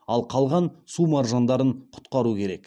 ал қалған су маржандарын құтқару керек